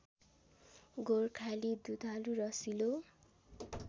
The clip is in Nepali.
गोर्खाली दुधालु रसिलो